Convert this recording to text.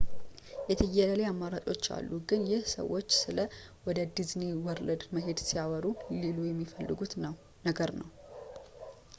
የትዬለሌ ዓይነት አማራጮች አሉ ግን ይህ ሰዎች ስለ ወደ ዲዝኒ ወርልድ መሄድ ሲያወሩ ሊሉ የሚፈልጉት ነገር ነው